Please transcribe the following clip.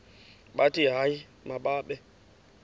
bathi hayi mababe